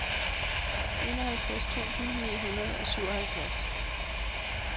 enoghalvtreds tusind ni hundrede og syvoghalvfjerds